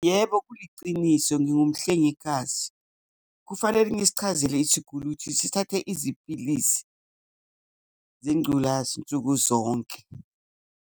Yebo kuyiciniso, ngingumhlengikazi. Kufanele ngisichazele isiguli ukuthi sithathe iziphilisi zengculazi nsuku zonke.